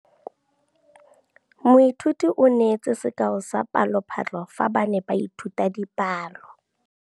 Moithuti o neetse sekaô sa palophatlo fa ba ne ba ithuta dipalo.